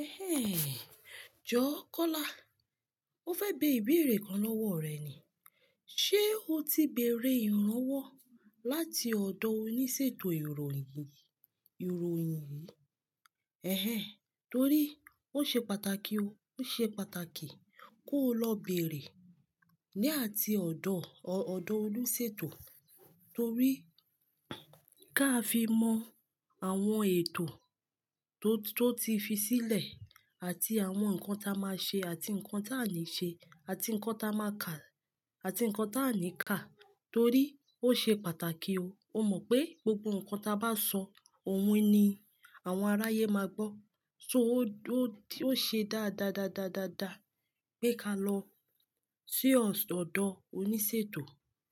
Ẹhẹ́n, Jọ, Kọ́lá. MÓ fẹ́ bẹ ìbéèrè kan lọ́wọ́ rẹ ni. Ṣé o ti bèèrè ìrànwọ́ láti ọ̀dọ̀ oníṣètò ìròyìn, ìròyìn? Ẹhẹ́n, torí ó ṣe pàtàkì o, ó ṣe pàtàkì kó o lọ bèèrè ni ati ọ̀dọ̀ ọ̀dọ̀ olúṣètò torí ká fi mọ àwọn ètò tó, tó ti fi sílẹ̀ àti àwọn nǹkan tí a máa ṣe àti nǹkan tí a ní ṣe àti nǹkan tí a máa kà àti nǹkan tí a ní ká torí ó ṣe pàtàkì o. O mọ̀ pé gbogbo nǹkan tí a bá sọ òun ni àwọn aráyé máa gbọ́. So ó ṣe dá, dá, dá, dá, dá, dá pé ká lọ sí ọ̀dọ̀ oníṣètò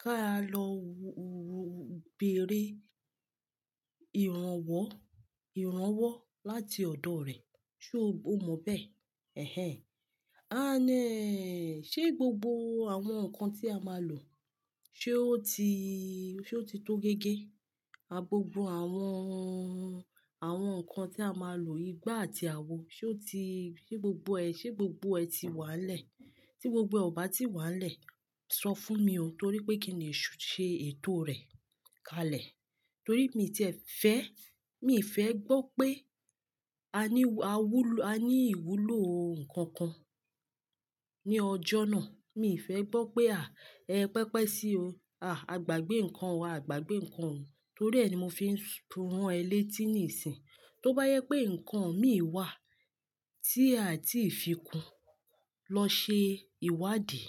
ká lọ bèèrè ìrànwọ́, ìrànwọ́ láti ọ̀dọ̀ rẹ̀. Sé o mọ̀ bẹ́ẹ̀? Ẹhẹ́n. Ṣe gbogbo àwọn nǹkan tí a máa lò ṣe ó ti, ṣe ó ti tó géégé? Gbogbo àwọn, àwọn nǹkan tí a máa lò, igbá àti àwo ṣe ó ti, ṣe gbogbo ẹ, ṣe gbogbo ẹ ti wà nílẹ̀? Tí gbogbo ọba ti wà nílẹ̀, sọ fún mi o torí pé kí n le ṣe ètò rẹ̀ kalẹ̀. Torí mi ti ẹ̀ fẹ́, mi ì fẹ́ gbọ́ pé a ní ìwúlò nnkan kan ní ọjọ́ náà. Mi ì fẹ́ gbọ́ pé a, ẹ pẹ́pẹ́ sí i o. A, a gbàgbé nǹkan o, a gbàgbé nǹkan ò Torí ẹ ni mo fi ń tún rán ẹ létí níìsín. Tó bá jẹ pé nǹkan mí wá tí a ti fi kún lọ ṣe ìwádìí,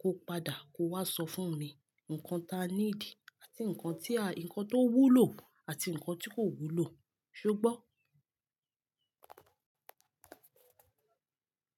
kó padà kó wá sọ fún mi. Nǹkan ta need àti nǹkan tí a, nǹkan tó wúlò àti nǹkan tí kò wúlò. Sé o gbọ́?